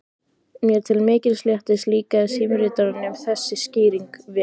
Mér til mikils léttis líkaði símritaranum þessi skýring vel.